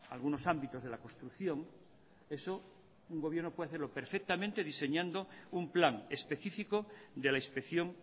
algunos ámbitos de la construcción eso un gobierno puede hacerlo perfectamente diseñando un plan específico de la inspección